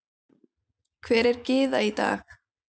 Hver er Gyða í dag?